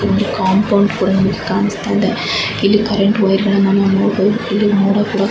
ಇಲ್ಲಿ ಕಾಂಪೌಂಡ್ ಕೂಡ ಇಲ್ಲಿ ಕಾಣಸ್ತಾಯಿದೆ. ಇಲ್ಲಿ ಕರ್ರೆನ್ಟ್ ವಾಯರ್ ಗಳನ್ನ ನಾವು ನೋಡಬಹುದು. ಇಲ್ಲಿ ಮೋಡ ಕೂಡ--